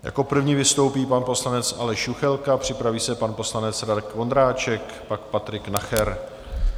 Jako první vystoupí pan poslanec Aleš Juchelka, připraví se pan poslanec Radek Vondráček, pak Patrik Nacher.